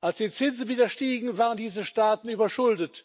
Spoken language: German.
Als die Zinsen wieder stiegen, waren diese Staaten überschuldet.